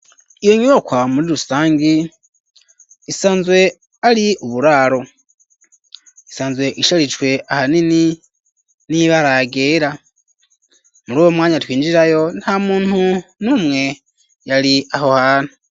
Iyo nyubakwa muri rusangi, isanzwe ari uburaro, isanzwe isharijwe ahanini n'ibara ryera, muri uwo mwanya twinjirayo, nta muntu n'umwe yari aho hantu.